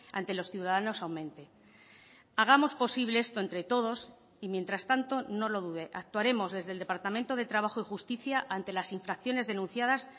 ante los ciudadanos aumente hagamos posible esto entre todos y mientras tanto no lo dude actuaremos desde el departamento de trabajo y justicia ante las infracciones denunciadas